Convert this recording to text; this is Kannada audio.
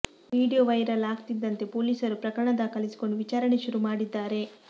ವಿಡಿಯೋ ವೈರಲ್ ಆಗ್ತಿದ್ದಂತೆ ಪೊಲೀಸರು ಪ್ರಕರಣ ದಾಖಲಿಸಿಕೊಂಡು ವಿಚಾರಣೆ ಶುರು ಮಾಡಿದ್ದಾರೆ